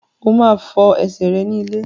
O máa fọ ẹsẹ̀ rẹ ní ilé.